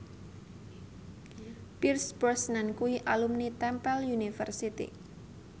Pierce Brosnan kuwi alumni Temple University